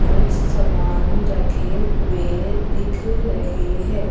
कुछ सामान रखे हुए दिख रहे हैं।